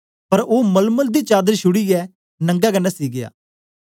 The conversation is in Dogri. पर ओ मलमल दी चादर छुड़ीयै नंगा गै नसी गीया